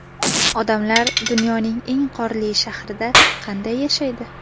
Odamlar dunyoning eng qorli shahrida qanday yashaydi .